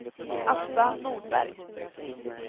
Asta Nordberg